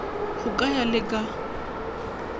go ka ya le ka